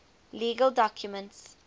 legal documents